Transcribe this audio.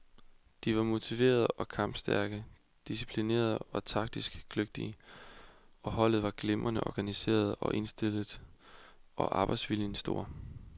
De var motiverede og kampstærke, disciplinerede og taktisk kløgtige, og holdet var glimrende organiseret og indstillet og arbejdsviljen stor.